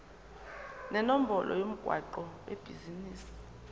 nenombolo yomgwaqo webhizinisi